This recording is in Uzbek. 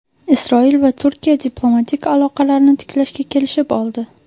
Isroil va Turkiya diplomatik aloqalarni tiklashga kelishib oldi.